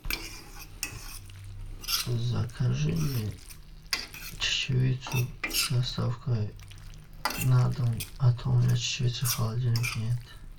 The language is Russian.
закажи мне чечевицу с доставкой на дом а то у меня чечевицы в холодильнике нет